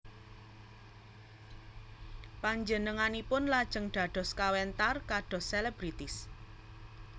Panjenenganipun lajeng dados kawentar kados selebritis